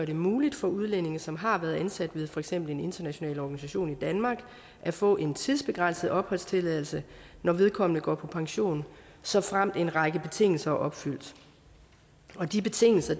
det muligt for udlændinge som har været ansat ved for eksempel en international organisation i danmark at få en tidsbegrænset opholdstilladelse når vedkommende går på pension såfremt en række betingelser er opfyldt de betingelser